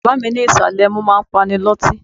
Bàbá mi ní ìsàlẹ̀ ẹmu máa ń pani lọ́tí.